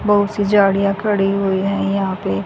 बहुत सी झाड़ियां खड़ी हुई हैं यहां पे।